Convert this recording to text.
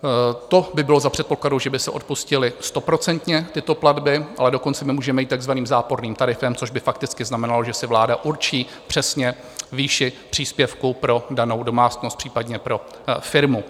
To by bylo za předpokladu, že by se odpustily stoprocentně tyto platby, ale dokonce my můžeme jít takzvaným záporným tarifem, což by fakticky znamenalo, že si vláda určí přesně výši příspěvku pro danou domácnost, případně pro firmu.